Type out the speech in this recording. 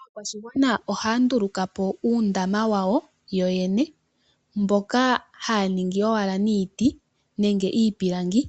Aakwashigwana ohaya ndulukapo uundama wawo yo yene mboka haya ningi owala niiti nenge niipilangi